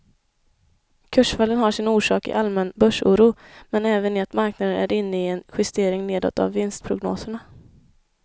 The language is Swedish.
Kursfallen har sin orsak i allmän börsoro men även i att marknaden är inne i en justering nedåt av vinstprognoserna.